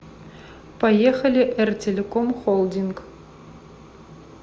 поехали эр телеком холдинг